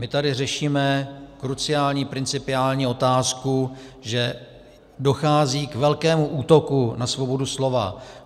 My tady řešíme kruciální principiální otázku, že dochází k velkému útoku na svobodu slova.